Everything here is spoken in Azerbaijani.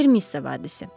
Ver misses hadisi.